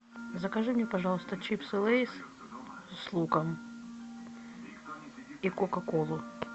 закажи мне пожалуйста чипсы лейс с луком и кока колу